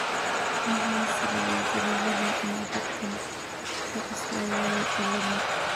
Maxaa sababa todoba iyo afartan, XYY cilada?